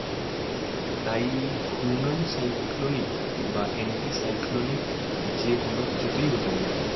তাই এই ঘূর্ণয়ন সাইক্লোনিক বা anticyclonic যে কোনো কিছুতেই হতে পারে।